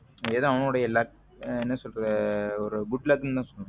ஏதோ அவனோட luck சொல்ல்ற ஒரு good luck தான் சொல்லணும்.